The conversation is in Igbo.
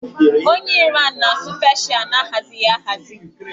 Onye Iran na-asụ Peeshịa na-ahazighị ahazi